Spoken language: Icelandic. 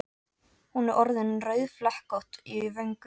Hún er orðin rauðflekkótt í vöngum.